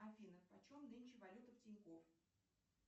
афина почем нынче валюта в тинькофф